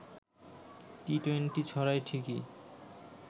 T twenty ছড়ায় ঠিকই